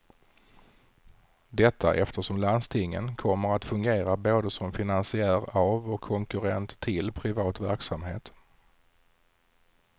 Detta eftersom landstingen kommer att fungera både som finansiär av och konkurrent till privat verksamhet.